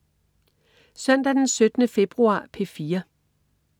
Søndag den 17. februar - P4: